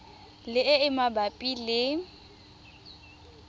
le e e mabapi le